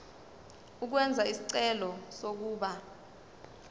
ukwenza isicelo sokuba